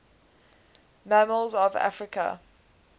mammals of africa